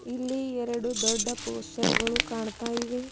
ಇಲ್ಲಿ ಎರಡು ದೊಡ್ಡ ಪೋಸ್ಟರ್ ಗಳು ಕಾಣ್ತಾ ಇವೆ.